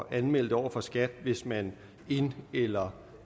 at anmelde det over for skat hvis man ind eller